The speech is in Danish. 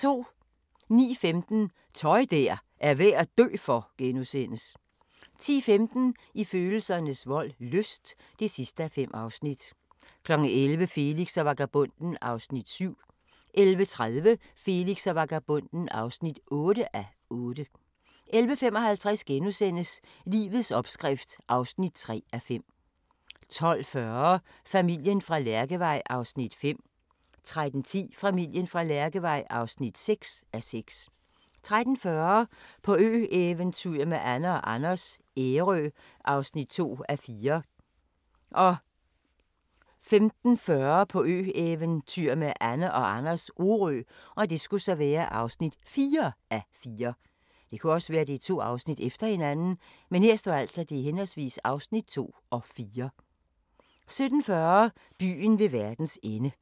09:15: Tøj der er værd at dø for! * 10:15: I følelsernes vold – lyst (5:5) 11:00: Felix og vagabonden (7:8) 11:30: Felix og vagabonden (8:8) 11:55: Livets opskrift (3:5)* 12:40: Familien fra Lærkevej (5:6) 13:10: Familien fra Lærkevej (6:6) 13:40: På ø-eventyr med Anne & Anders - Ærø (2:4) 15:40: På ø-eventyr med Anne & Anders - Orø (4:4) 17:40: Byen ved verdens ende